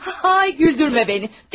Ay güldürmə məni.